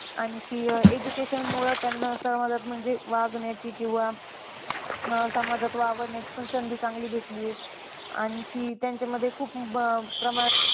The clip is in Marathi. आणखी अह education मुळे त्यानां समाजात म्हणजे वागण्याची किंवा समाजात वावरण्याची पण संधी चांगली भेटली आहे. आणखी त्यांच्यामध्ये खूप प्रमाणात